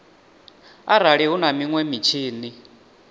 arali hu na minwe mitshini